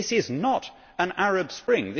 This is not an Arab Spring.